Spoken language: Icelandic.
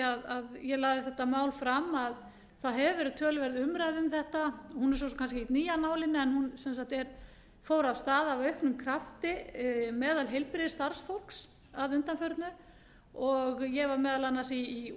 því að ég lagði þetta mál fram að það hefur verið töluverð umræða um þetta hún er svo sem kannski ekkert ný af nálinni en hún fór af stað af auknum krafti meðal heilbrigðisstarfsfólks að undanförnu og ég var meðal annars í